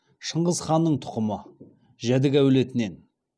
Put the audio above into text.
шыңғыс ханның тұқымы жәдік әулетінен